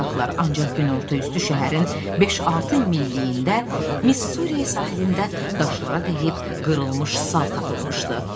Ancaq günorta üstü şəhərin 5-6 milliyində Miss Suriya sahilində daşlara dəyib qırılmış sal tapılmışdı.